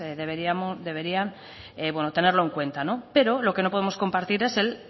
deberían tenerlo en cuenta pero lo que no podemos compartir es el